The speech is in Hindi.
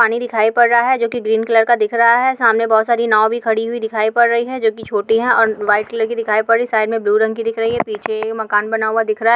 पानी दिखाई पड रहा हैं जो कि ग्रीन कलर का दिख रहा हैं सामने बहुत सारी नौ भी खड़ी हुई दिखाई पड रही हैं जो की छोटी हैं और वाईट कलर कि दिखाई पड़ी साईड मे ब्लू रंग कि दिख रही हैं पीछे मकान बना हुआ दिख रहा हैं।